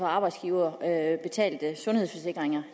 arbejdsgiverbetalte sundhedsforsikringer